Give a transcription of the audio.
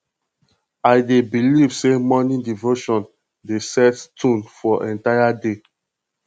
i dey believe say morning devotion dey set tone for entire day